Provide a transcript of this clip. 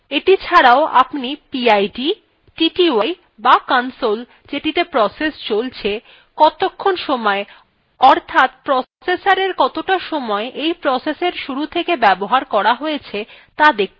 এটি ছাড়াও আপনি pid tty বা console যেটিতে প্রসেস চলছে কতক্ষণ সময় অর্থাৎ processor কতটা সময় এই প্রসেসএর শুরু থেকে ব্যবহার করা হয়েছে ত়া দেখতে পাচ্ছেন